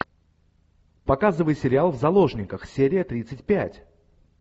показывай сериал в заложниках серия тридцать пять